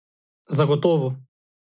Zagotovo.